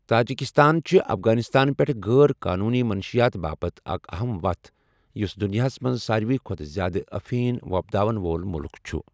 Tajikistan چھِ افغانستان پٮ۪ٹھٕ غٲر قونوٗنی منشِیات باپتھ اکھ اَہَم وَتھ، یُس دُنیاہَس منٛز ساروی کھۄتہٕ زیادٕ ٲفین وۄپداوَن وول مُلک چھُ۔